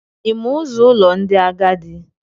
Ị ma ụzọ ụlọ ndị agadi?